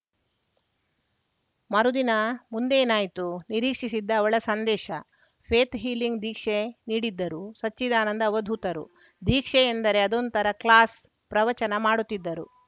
ಮರುದಿನ ಮುಂದೇನಾಯ್ತು ನಿರೀಕ್ಷಿಸಿದ್ದ ಅವಳಸಂದೇಶ ಫೇತ್‌ ಹೀಲಿಂಗ್‌ ದೀಕ್ಷೆ ನೀಡಿದ್ದರು ಸಚ್ಚಿದಾನಂದ ಅವಧೂತರು ದೀಕ್ಷೆ ಅಂದರೆ ಅದೊಂಥರಾ ಕ್ಲಾಸ್‌ ಪ್ರವಚನ ಮಾಡುತ್ತಿದ್ದರು